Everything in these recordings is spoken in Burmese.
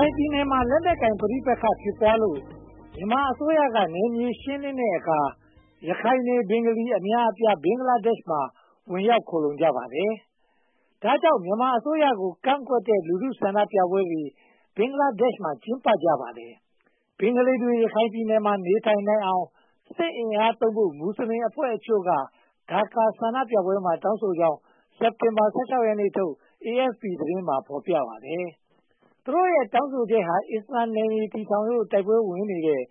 ိုင်ပြည်နယ်မှာ လက်နက်ကိုင်ပဋိပက္ခ ဖြစ်ပွားလို့ မြန်မာအစိုးရက နယ်မြေရှင်းလင်းတဲ့အခါ ရခိုင်နေ ဘင်္ဂလီအများအပြား ဘင်္ဂလားဒေ့ရှ်မှာ ဝင်ရောက်ခိုလှုံကြပါတယ်။ ဒါကြောင့် မြန်မာအစိုးရကို ကန့်ကွက်တဲ့ လူထုဆန္ဒပြပွဲတွေ ဘင်္ဂလားဒေ့ရှ်မှာ ကျင်းပကြပါတယ်။ ဘင်္ဂလီတွေ ရခိုင်ပြည်နယ်မှာ နေနိုင်အောင် စစ်အင်အားသုံးဖို့ မွတ်စလင်အဖွဲ့အချို့က ဒါကာမြို့ဆန္ဒပြပွဲမှာ တောင်းဆိုကြောင်း စက်တင်ဘာ ရက်နေ့ထုတ် AFP သတင်းမှာ ဖော်ပြပါတယ်။ သူတို့ရဲ့ တောင်းဆိုချက်က အစ္စလာမ်နယ်မြေ တည်ထောင်ဖို့ တိုက်ပွဲဝင်တဲ့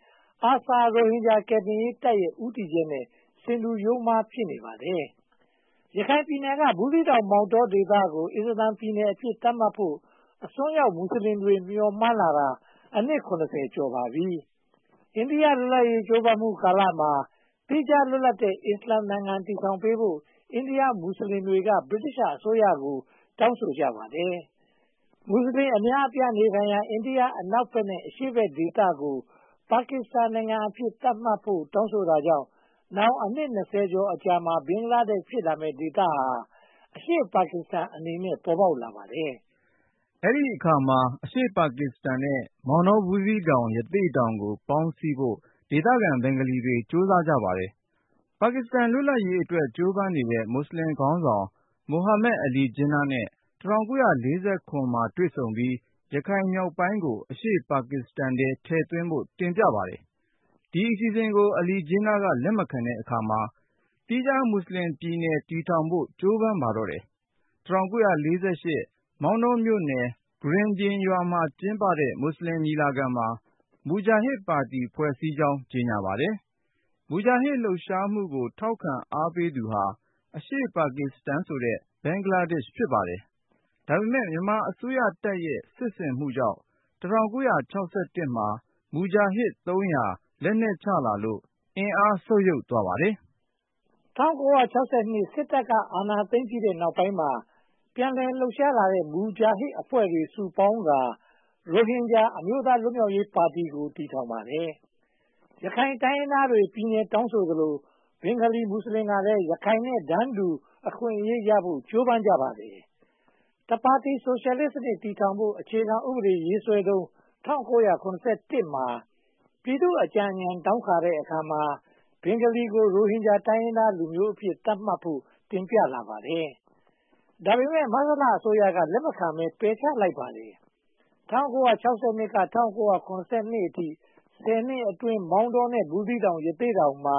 ARSA ရိုဟင်ဂျာ ကယ်တင်ရေးတပ်ရဲ့ ဦးတည်ချက်နဲ့ ဆင်တူယိုမှား ဖြစ်နေပါတယ်။ ရခိုင်ပြည်နယ် ဘူးသီတောင်၊ မော်တောဒေသကို အစ္စလာမ်ပြည်နယ်အဖြစ် သတ်မှတ်ဖို့ အစွန်းရောက် မွတ်စလင်တွေ မျှော်မှန်းလာတာ အနှစ် ရှိလာခဲ့ပါပြီ။ အိန္ဒိယလွတ်လပ်ရေး ကြိုးပမ်းမှုကာလမှာ သီးခြားလွတ်လပ်တဲ့ အစ္စလာမ်နိုင်ငံ တည်ထောင်ပေးဖို့ အိန္ဒိယမွတ်စလင်တွေ ဗြိတိသျှအစိုးရကို တောင်းဆိုကြပါတယ်။ မွတ်စလင်အများစု နေထိုင်ရာ အိန္ဒိယအနောက်ဘက်နဲ့ အရှေ့ဘက်ဒေသကို ပါကစ္စတန်နိုင်ငံအဖြစ် သတ်မှတ်ဖို့ တောင်းဆိုတာကြောင့် နောက်အနှစ် ကျော်အကြာ ဘင်္ဂလားဒေ့ရှ်နိုင်ငံ ဖြစ်လာမယ့်ဒေသဟာ အရှေ့ပါကစ္စတန်အနေနဲ့ ပေါ်ပေါက်လာပါတယ်။ အဲဒီအခါ အရှေ့ပါကစ္စတန်နဲ့ မောင်တော၊ ဘူးသီးတောင်၊ ရသေ့တောင်တို့ကို ပေါင်းစည်းဖို့ ဒေသခံ ဘင်္ဂလီတွေ ကြိုးစားကြပါတယ်။ ပါကစ္စတန် လွတ်လပ်ရေးအတွက် ကြိုးပမ်းနေတဲ့ မွတ်စလင်ခေါင်းဆောင် မိုဟာမက်အလီဂျင်းနား နဲ့ ၁၉၄၇ ခုနှစ်မှာ တွေ့ဆုံပြီး ရခိုင်မြောက်ပိုင်းကို အရှေ့ပါကစ္စတန်ထဲ ထည့်သွင်းဖို့ တင်ပြပါတယ်။ ဒီအစီအစဉ်ကို အလီဂျင်းနား က လက်မခံတဲ့အခါမှာ သီးခြားမွတ်စလင်ပြည်နယ်ထောင်ဖို့ ကြိုးပမ်းပါတော့တယ်။ ၁၉၄၈ မောင်တောမြို့နယ် ဂရင်ဗျင်ရွာမှာ ကျင်းပတဲ့ မွတ်စလင်ညီလာခံမှာ မူဂျာဟစ်ပါတီ ဖွဲ့စည်းကြောင်း ကြေညာပါတယ်။ မူဂျာဟစ် လှုပ်ရှားမှုကို ထောက်ခံအားပေးသူဟာ အရှေ့ပါကစ္စတန် ဖြစ်ပါတယ်။ ဒါပေမဲ့ မြန်မာအစိုးရတပ်ရဲ့ စစ်ဆင်မှုကြောင့် ၁၉၆၁ မှာ မူဂျာဟစ် ကျော် လက်နက်ချလာလို့ အင်အားဆုတ်ယုတ်သွားပါတယ်။ ၁၉၆၂ စစ်တပ်က အာဏာသိမ်းပြီးနောက်ပိုင်းမှာ ပြန်လည်လှုပ်ရှားလာတဲ့ မူဂျာဟစ်အဖွဲ့တွေ စုပေါင်းကာ ရိုဟင်ဂျာ အမျိုးသားလွတ်မြောက်ရေးပါတီကို တည်ထောင်ပါတယ်။ ရခိုင်တိုင်းရင်းသားတွေ ပြည်နယ်တောင်းဆိုသလို ဘင်္ဂလီမွတ်စလင်ကလည်း ရခိုင်နဲ့ တန်းတူအခွင့်အရေးရဖို့ ကြိုးပမ်းကြပါတယ်။ တပါတီဆိုရှယ်လစ်စနစ် တည်ထောင်ဖို့ အခြေခံဥပဒေရေးဆွဲနေတုန်း ၁၉၇၁ မှာ ပြည်သူ့အကြံဉာဏ် တောင်းခံတဲ့အခါမှာ ဘင်္ဂလီကို ရိုဟင်ဂျာ တိုင်းရင်းသားလူမျိုးအဖြစ် သတ်မှတ်ဖို့ တင်ပြလာပါတယ်။ ဒါပေမဲ့ မဆလအစိုးရက လက်မခံဘဲ ပယ်ချလိုက်ပါတယ်။ ၁၉၆၂ ကနေ ၁၉၇၂ ခုနှစ်အထိ ဆယ်နှစ်အတွင်းမှာ မောင်းတော၊ ဘူးသီးတောင် နဲ့ ရသေ့တောင်ဒေသတဝိုက်မှာ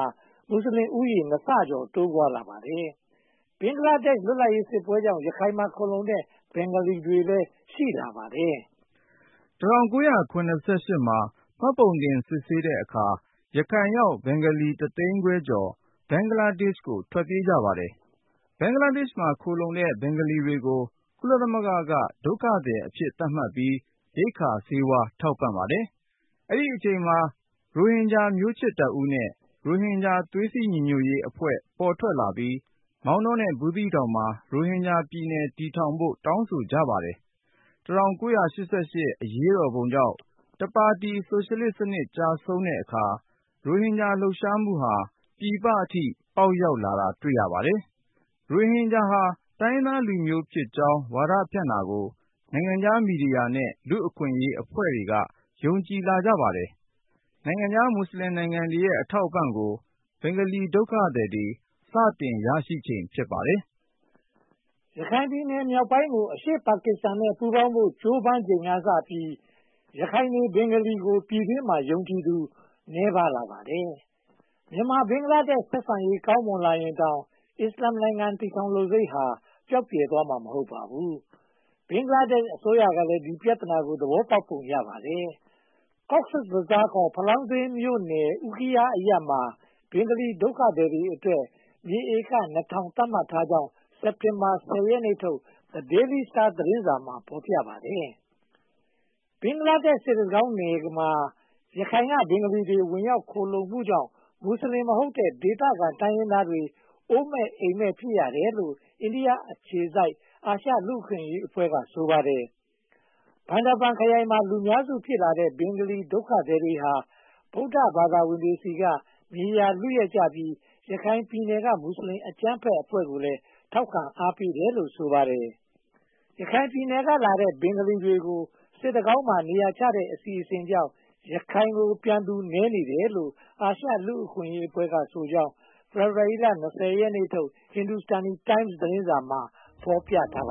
မွတ်စလင်လူဦးရေ နှစ်ဆကျော် တိုးပွားလာပါတယ်။ ဘင်္ဂလားဒေ့ရှ် လွတ်လပ်ရေးစစ်ပွဲကြောင့် ရခိုင်မှာ ခိုလှုံတဲ့ ဘင်္ဂလီတွေလည်း ရှိပါတယ်။ ၁၉၇၈ ခုနှစ်မှာ မှတ်ပုံတင်စစ်ဆေးတဲ့အခါ ရခိုင်ရောက် ဘင်္ဂလီ တသိန်းခွဲကျော် ဘင်္ဂလားဒေ့ရှ်ကို ထွက်ပြေးကြပါတယ်။ ဘင်္ဂလားဒေ့ရှ်မှာ ခိုလှုံတဲ့ ဘင်္ဂလီတွေကို ကုလသမဂ္ဂက ဒုက္ခသည်အဖြစ် သတ်မှတ်ပြီး ရိက္ခာဆေးဝါး ထောက်ပံ့ပါတယ်။ အဲဒီအချိန်မှာ ရိုဟင်ဂျာမျိုးချစ်တပ်ဦးနဲ့ ရိုဟင်ဂျာ သွေးစည်းညီညွှတ်ရေးအဖွဲ့တွေ ပေါ်ထွက်လာပြီး မောင်းတော နဲ့ ဘူးသီးတောင်မှာ ရိုဟင်ဂျာပြည်နယ် တည်ထောင်ဖို့ တောင်းဆိုကြပါတယ်။ ၁၉၈၈ အရေးတော်ပုံကြောင့် တပါတီဆိုရှယ်လစ်စနစ် ကျဆုံးတဲ့အခါ ရိုဟင်ဂျာ လှုပ်ရှားမှုဟာ ပြည်ပအထိ ပေါက်ရောက်လာတာ တွေ့ရပါတယ်။ ရိုဟင်ဂျာဟာ တိုင်းရင်းသားလူမျိုးဖြစ်ကြောင်း ဝါဒဖြန့်တာကို နိုင်ငံခြားမီဒီယာနဲ့ လူ့အခွင့်အရေးအဖွဲ့တွေက ယုံကြည်လာကြပါတယ်။ နိုင်ငံခြားမွတ်စလင်နိုင်ငံတွေရဲ့ အထောက်အပံ့ကို ဘင်္ဂလီဒုက္ခသည်တွေ စတင်ရရှိချိန် ဖြစ်ပါတယ်။ ရခိုင်ပြည်နယ်မြောက်ပိုင်းကို အရှေ့ပါကစ္စတန်နဲ့ ပူးပေါင်းဖို့ ကြိုးပမ်းချိန်ကစပြီး ရခိုင်နေ ဘင်္ဂလီတွေကို ပြည်တွင်းမှာ ယုံကြည်သူ နည်းပါးလာပါတယ်။ မြန်မာ-ဘင်္ဂလားဒေ့ရှ် ဆက်ဆံရေးကောင်းမွန်လာရင်တောင် အစ္စလာမ်နိုင်ငံ တည်ထောင်လိုစိတ်ဟာ ပျောက်ပြယ်သွားမှာ မဟုတ်ပါဘူး။ ဘင်္ဂလားဒေ့ရှ်အစိုးရကလည်း ဒီပြဿနာကို သဘောပေါက်ပုံ ရပါတယ်။ Cox’s Bazar ဖလောင်းဈေးမြို့နယ် Ukhia အူးခီးယားအရပ်မှာ ဘင်္ဂလီဒုက္ခသည်တွေအတွက် မြေဧက သတ်မှတ်ထားကြောင်း စက်တင်ဘာ ရက်နေ့ထုတ် The Daily Star သတင်းစာမှာ ဖော်ပြထားပါတယ်။ ဘင်္ဂလားဒေ့ရှ် စစ်တကောင်းနယ်မှာ ရခိုင်က ဘင်္ဂလီတွေ ဝင်ရောက်လာမှုကြောင့် မွတ်စလင်မဟုတ်တဲ့ ဒေသခံတိုင်းရင်းသားတွေ အိုးမဲ့အိမ်မဲ့ ဖြစ်ရတယ်လို့ အိန္ဒိယအခြေစိုက် အာရှလူ့အခွင့်အရေးအဖွဲ့က ဆိုပါတယ်။ ဘန်ဒါဘန်ခရိုင်မှာ လူမျိုးစုဖြစ်လာတဲ့ ဘင်္ဂလီဒုက္ခသည်တွေဟာ ဗုဒ္ဓဘာသာဝင်တွေဆီက မြေယာလုယက်ကြပြီး ရခိုင်ပြည်နယ်က မွတ်စလင်အကြမ်းဖက်တွေကိုလည်း ထောက်ခံအားပေးတယ်လို့ ဆိုပါတယ်။ ရခိုင်ပြည်နယ်ကလာတဲ့ ဘင်္ဂလီတွေကို စစ်တကောင်းမှာ နေရာချထားတဲ့ အစီအစဉ်ကြောင့် ရခိုင်ကို ပြန်လာသူနည်းနေတယ်လို့ အာရှလူ့အခွင့်အရေးအဖွဲ့ကဆိုကြောင်း ဖေဖေါ်ဝါရီလ ရက်နေ့ထုတ် Hindustan Times သတင်းစာမှာ ဖော်ပြပါတယ